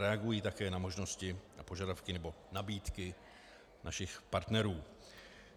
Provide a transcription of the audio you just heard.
Reagují také na možnosti a požadavky nebo nabídky našich partnerů.